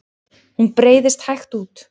Hún breiðst hægt út.